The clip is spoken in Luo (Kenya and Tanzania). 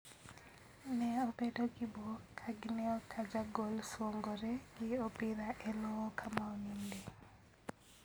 ne obedo gi buok ka gineo ka ja gol suongore gi opira e lowo kama oninde.